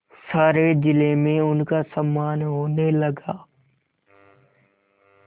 सारे जिले में उनका सम्मान होने लगा